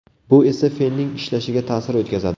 Bu esa fenning ishlashiga ta’sir o‘tkazadi.